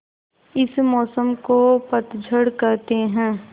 इस मौसम को पतझड़ कहते हैं